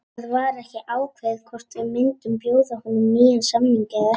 Það var ekkert ákveðið hvort við myndum bjóða honum nýjan samning eða ekki.